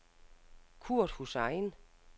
Kurt Hussain